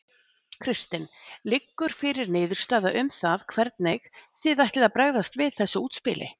Kristinn: Liggur fyrir niðurstaða um það hvernig þið ætlið að bregðast við þessu útspili?